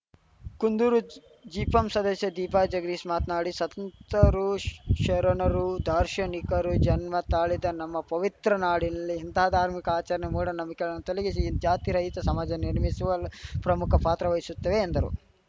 ಕುಂದೂರು ಜಿಪಂ ಸದಸ್ಯೆ ದೀಪಾ ಜಗದೀಶ್‌ ಮಾತನಾಡಿ ಸಂತರು ಶರಣರು ದಾರ್ಶನಿಕರು ಜನ್ಮ ತಾಳಿದ ನಮ್ಮ ಪವಿತ್ರ ನಾಡಿನಲ್ಲಿ ಇಂತಹ ಧಾರ್ಮಿಕ ಆಚರಣೆ ಮೂಢನಂಬಿಕೆಗಳನ್ನು ತೊಲಗಿಸಿ ಜಾತಿರಹಿತ ಸಮಾಜ ನಿರ್ಮಿಸುವಲ್ಲಿ ಪ್ರಮುಖ ಪಾತ್ರವಹಿಸುತ್ತವೆ ಎಂದರು